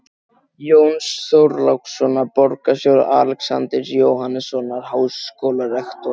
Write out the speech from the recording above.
Jóns Þorlákssonar borgarstjóra, Alexanders Jóhannessonar háskólarektors